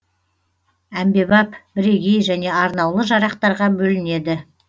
әмбебап бірегей және арнаулы жарақтарға бөлінеді